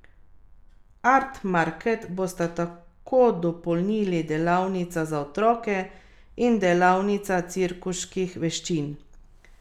Art market bosta tako dopolnili delavnica za otroke in delavnica cirkuških veščin.